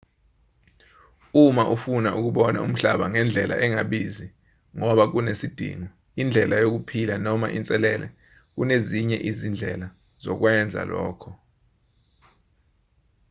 uma ufuna ukubona umhlaba ngendlela engabizi ngoba kunesidingo indlela yokuphila noma inselele kunezinye izindlela zokwenza lokho